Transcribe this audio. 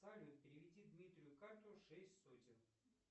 салют переведи дмитрию карту шесть сотен